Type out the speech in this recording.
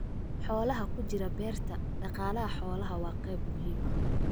Xoolaha ku jira Beerta Dhaqaalaha Xoolaha waa qayb muhiim ah.